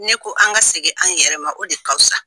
Ne ko an ka segin an yɛrɛ ma o de ka fusa.